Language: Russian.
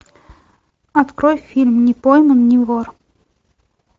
открой фильм не пойман не вор